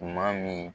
Tuma min